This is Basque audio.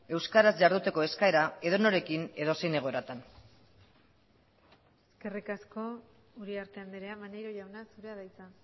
euskaraz jarduteko eskaera edonorekin edozein egoeratan eskerrik asko uriarte andrea maneiro jauna zurea da hitza